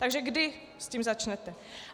Takže kdy s tím začnete?